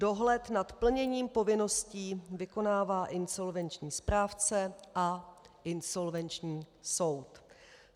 Dohled nad plněním povinností vykonává insolvenční správce a insolvenční soud.